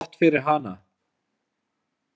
Gott fyrir hana.